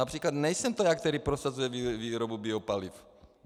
Například nejsem to já, kdo prosazuje výrobu biopaliv.